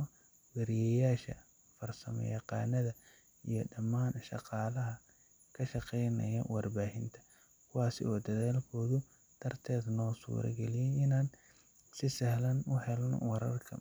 ah waryayaasha, farsama yaqaanada iyo damaan shaqaalaha kashaqeeynaya war baahinta, kuwaas oo dadaalkooda darteed noo suura galiye inaan si sahlan uhelno wararkan,